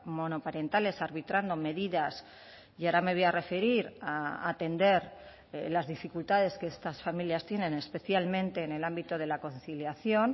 monoparentales arbitrando medidas y ahora me voy a referir a atender las dificultades que estas familias tienen especialmente en el ámbito de la conciliación